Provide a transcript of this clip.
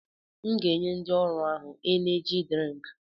M ga-enye ndị ọrụ ahụ Eneji drịnk